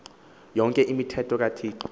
yonke imithetho kathixo